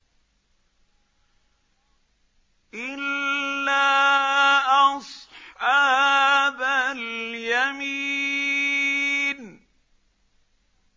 إِلَّا أَصْحَابَ الْيَمِينِ